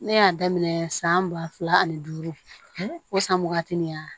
Ne y'a daminɛ san ba fila ani duuru o san waagati min na